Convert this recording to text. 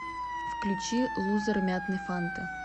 включи лузер мятной фанты